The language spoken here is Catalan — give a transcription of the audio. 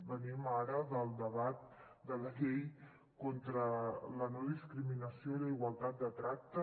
venim ara del debat de la llei contra la no discriminació i la igualtat de tracte